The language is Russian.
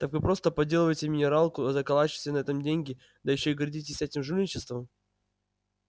так вы просто подделываете минералку заколачиваете на этом деньги да ещё и гордитесь этим жульничеством